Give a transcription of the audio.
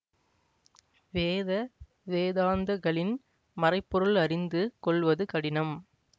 வேத வேதாந்தகளின் மறைபொருள் அறிந்து கொள்வது கடினம்